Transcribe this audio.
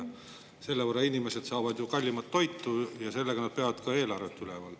Selle võrra inimesed ostavad ju kallimat toitu ja sellega nad peavad ka eelarvet üleval.